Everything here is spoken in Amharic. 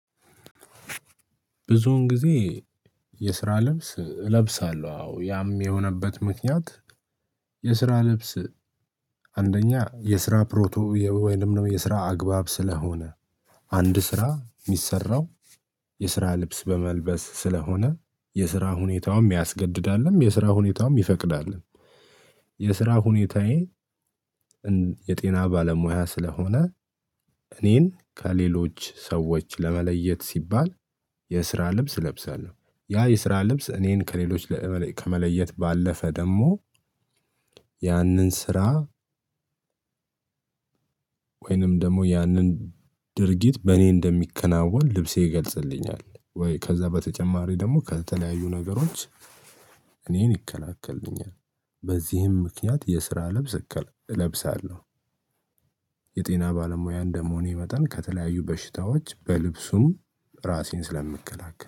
ብዙውን ጊዜ የስራ ልብስ እለብሳለሁ። አዎ ያም የሆነበት ምክንያት የስራ ልብስ አንደኛ የስራ ፕሮቶ ወይንም የስራ አግባብ ስለሆነ አንድ ስራ ሚሰራው የስራ ልብስ በመልበስ ስለሆነ የስራ ሁኔታውም ያስገድዳልም የስራ ሁኔታውም ይፈቅዳልም። የስራ ሁኔታዬ የጤና ባለሙያ ስለሆነ እኔን ከሌሎች ሰዎች ለመለየት ሲባል የስራ ልብስ እለብሳለሁ። ያ የስራ ልብስ እኔን ከሌሎች ከመለየት ባለፈ ደግሞ ያንን ስራ ወይንም ደግሞ ያንን ድርጊት በእኔ እንደሚከናወን ልብሴ ይገልጽልኛል። ወይ ከዛ በተጨማሪ ደግሞ ከተለያዩ ነገሮች እኔን ይከላከልኛል። በዚህም ምክንያት የስራ ልብስ እለብሳለሁ። የጤና ባለሙያ እንደ መሆኔ መጠን ከተለያዩ በሽታዎች በልብሱም ራሴን ስለምከላከል